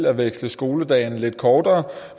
at veksle skoledagene lidt kortere